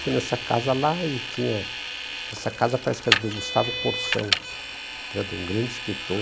Fui nessa casa lá e tinha... Essa casa parece que era do Gustavo Corsão, que era de um grande escritor.